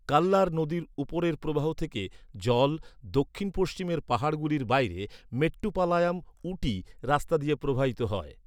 কাল্লার নদীর উপরের প্রবাহ থেকে, জল, দক্ষিণ পশ্চিমের পাহাড়গুলির বাইরে, মেট্টুপালায়াম উটি রাস্তা দিয়ে প্রবাহিত হয়।